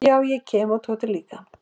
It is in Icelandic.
"""Já, ég kem og Tóti líka."""